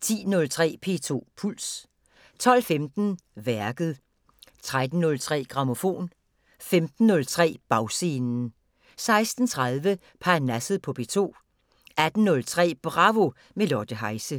10:03: P2 Puls 12:15: Værket 13:03: Grammofon 15:03: Bagscenen 16:30: Parnasset på P2 18:03: Bravo – med Lotte Heise